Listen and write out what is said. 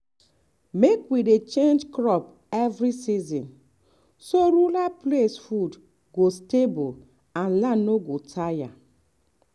mek we dey change crop every season so rural place food go stable and land no go tire.